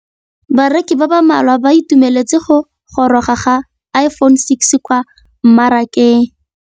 Bareki ba ba malwa ba ituemeletse go gôrôga ga Iphone6 kwa mmarakeng.